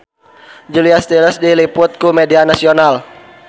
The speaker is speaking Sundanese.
Julia Stiles diliput ku media nasional